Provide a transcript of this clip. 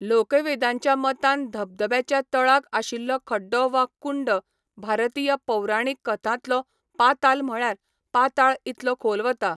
लोकवेदांच्या मतान धबधब्याच्या तळाक आशिल्लो खड्डो वा कुंड भारतीय पौराणीक कथांतलो पाताल म्हळ्यार पाताळ इतलो खोल वता.